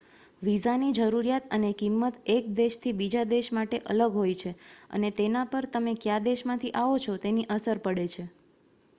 visa ની જરૂરિયાત અને કિંમત એક દેશ થી બીજા દેશ માટે અલગ હોય છે અને તેના પર તમે કયા દેશ માંથી આવો છો તેની અસર પડે છે